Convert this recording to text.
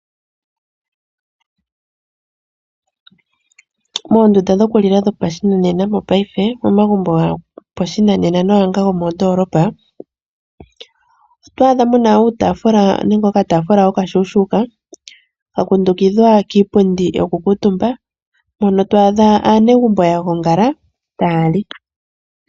Moondunda dhokulila dhopa shinanena mopaife momagumbo gopashinanena naangoka gomoondolopa, oto adhamo muna uutafula nenge oka tafula okashushuka, ka kundukidhwa kiipundi yoku kiitumba, moka to adha aanegumbo yagongala ta yali.